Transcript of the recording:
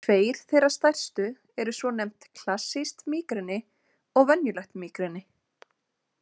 Tveir þeirra stærstu eru svonefnt klassískt mígreni og venjulegt mígreni.